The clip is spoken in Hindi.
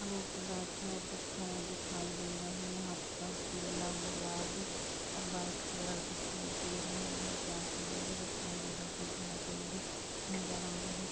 यहाँ लोग बैठी हैं और कुछ फाइल दिखाई दे रहा हैं यहाँ पर पीला गुलाबी और वाइट कलर दिखाई दे रहा है और यहाँ से आसमान भी दिखाई दे रहा है कुछ और पेड़ भी नज़र आ रह हैं।